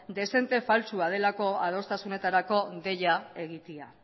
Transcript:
dezente faltsua delako adostasunetarako deia egitea